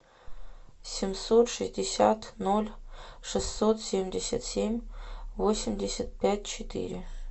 семьсот шестьдесят ноль шестьсот семьдесят семь восемьдесят пять четыре